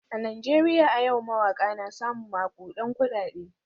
A Najeriya a yau mawaka na samun makudan kudade.